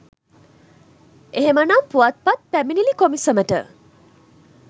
එහෙමනම් පුවත්පත් පැමිණිලි කොමිසමට